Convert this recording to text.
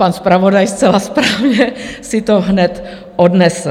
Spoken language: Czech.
Pan zpravodaj zcela správně si to hned odnesl.